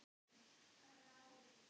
Hemma og Helga.